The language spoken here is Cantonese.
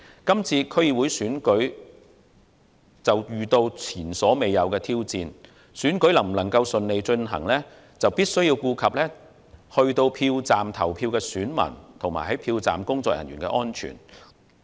這次區選遇到前所未有的挑戰，選舉能否順利進行，必須顧及前往票站投票的選民和票站工作人員的安全。